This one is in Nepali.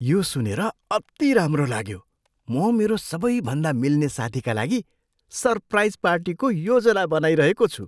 यो सुनेर अति राम्रो लाग्यो! म मेरो सबैभन्दा मिल्ने साथीका लागि सरप्राइज पार्टीको योजना बनाइरहेको छु।